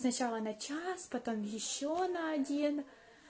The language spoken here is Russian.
сначала на час потом ещё на один